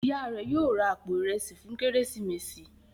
Ìyá rẹ yóò rá àpò Ìrẹsí fún Kérésìmesì.